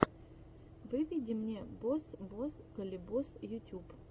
выведи мне бос бос калибос ютюб